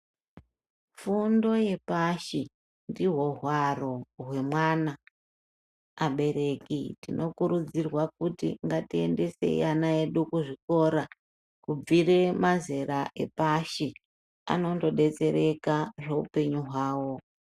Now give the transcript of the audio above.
Fundo yepashi ndihwo hwaro hwemwana abereki tinokurudzirwa kuti ngatiendesei ana edu kuzvikora kubvire mazera epashi anondodetsereka zveupenyu hwao.